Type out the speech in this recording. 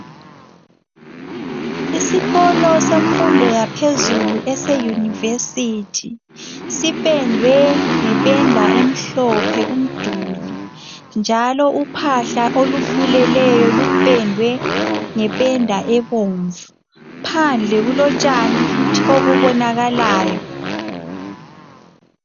Isikolo sebanga eliphezulu seyunivesithi sipendwe ngependa emhlophe, njalo uphahla phezulu lupendwe ngependa ebomnvu phandle njalo kulotshani olubonakalayo.